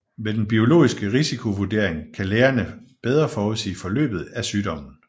Med den biologiske risikovurdering kan lægerne bedre forudsige forløbet af sygdommen